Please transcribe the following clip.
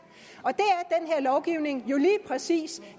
lovgivning jo lige præcis